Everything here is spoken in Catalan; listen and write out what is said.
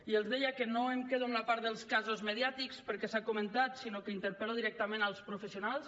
i els deia que no em quedo amb la part dels casos mediàtics perquè s’ha comentat sinó que interpel·lo directament els professionals